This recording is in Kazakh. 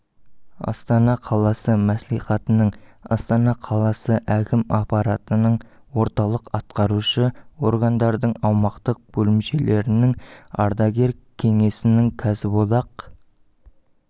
астана қаласы мәслихатының астана қаласы әкім аппаратының орталық атқарушы органдардың аумақтық бөлімшелерінің ардагер кеңесінің кәсіподақ